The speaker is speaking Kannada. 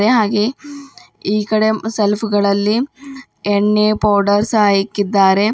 ಹಾಗೇ ಈಕಡೆ ಸೆಲ್ಫ್ ಗಳಲ್ಲಿ ಎಣ್ಣೆ ಪೌಡರ್ ಸಹ ಇಕ್ಕಿದ್ದಾರೆ.